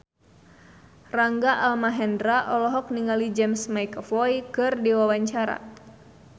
Rangga Almahendra olohok ningali James McAvoy keur diwawancara